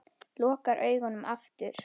Lokar augunum aftur.